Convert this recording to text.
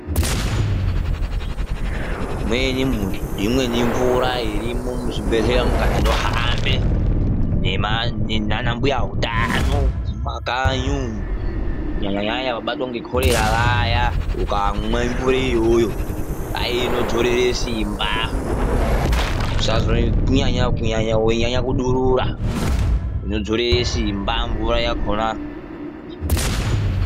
Imweni mvura irimo muzvibhedhlera mukaendawo inohambe nana mbuya utano mumakanyi umo kunyanya nyanya vabatwa nekorera vaya ukamwe mvura iyoyo ainodzirere simba kunyanya weinyanya kudurura inodzorere Simba mvura yakona.